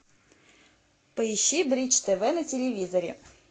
поищи бридж тв на телевизоре